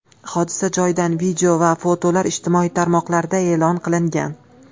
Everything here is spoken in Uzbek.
Hodisa joyidan video va fotolar ijtimoiy tarmoqlarda e’lon qilingan .